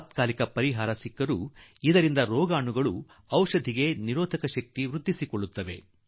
ಯಾವುದೋ ಗೊತ್ತು ಗುರಿಯಿಲ್ಲದೆ ಆಂಟಿ ಬಯೋಟಿಕ್ ಉಪಯೋಗಿಸಿದ ಕಾರಣದಿಂದ ರೋಗಿಗೆ ತತ್ಕಾಲಕ್ಕೆ ಲಾಭವಾಗುತ್ತದೆ